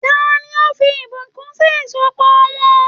Tani o fí ìbùkún sì ìsopọ̀ wọn?